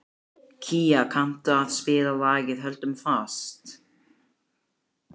Gía, kanntu að spila lagið „Höldum fast“?